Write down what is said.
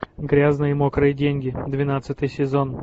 грязные мокрые деньги двенадцатый сезон